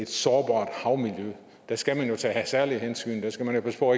sårbare havmiljø der skal man jo tage særlige hensyn der skal man jo passe på